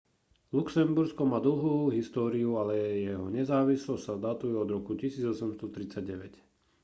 luxembursko má dlhú históriu ale jeho nezávislosť sa datuje od roku 1839